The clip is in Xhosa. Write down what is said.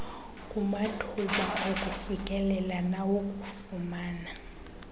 kumathuba okufikelela nawokufumana